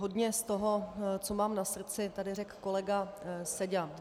Hodně z toho, co mám na srdci, tady řekl kolega Seďa.